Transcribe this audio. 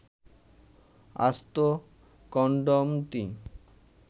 আস্ত কনডমটি